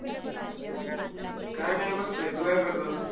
काय नाय बसलोय. तू काय करतोस?